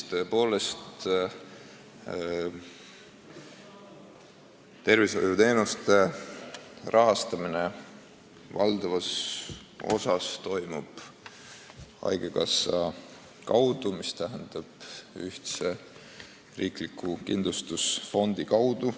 Tõepoolest, Eestis käib tervishoiuteenuste rahastamine valdavas osas haigekassa kaudu ehk siis ühtse riikliku kindlustusfondi kaudu.